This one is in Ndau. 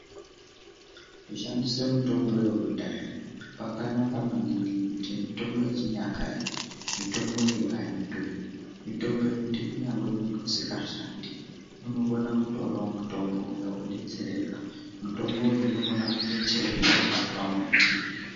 Kushandisa mitombo yekudhaya yakanaka maningi ngekuti mitombo yechinyakare mitombo iyi aidhuri mitombo yekuti kunyangwe muntu asingashandi unokona kutora mitombo iyi yekudetsereka mitombo iyi mutombo uyu unokona kowanikwa pamuti.